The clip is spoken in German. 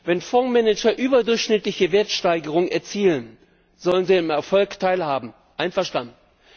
Wenn Fondsmanager eine überdurchschnittliche Wertsteigerung erzielen, sollen sie am Erfolg teilhaben einverstanden.